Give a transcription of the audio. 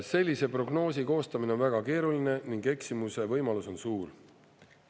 Sellise prognoosi koostamine on väga keeruline ning eksimuse võimalus on suur.